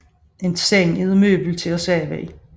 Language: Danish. En seng er et møbel til at sove i